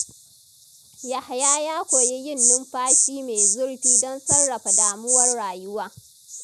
Yahaya ya koyi yin numfashi mai zurfi don sarrafa damuwar rayuwa.